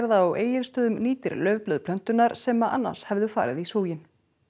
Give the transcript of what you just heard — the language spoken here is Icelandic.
á Egilsstöðum nýtir laufblöð plöntunnar sem annars hefðu farið í súginn